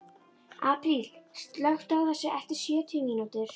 Apríl, slökktu á þessu eftir sjötíu mínútur.